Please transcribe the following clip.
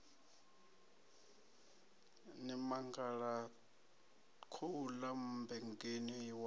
ni mangala khouḽa mmbengeni wa